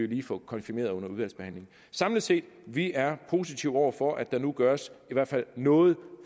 lige få konfirmeret under udvalgsbehandlingen samlet set vi er positive over for at der nu gøres i hvert fald noget